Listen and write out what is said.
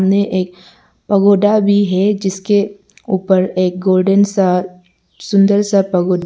सामने एक पगोडा भी है जिसके ऊपर एक गोल्डन सा सुंदर सा बहुत--